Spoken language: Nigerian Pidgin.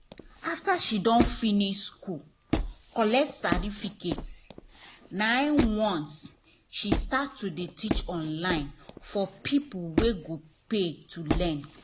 after she finish school collect certificate nah once she start dey teach online for people wey go pay to learn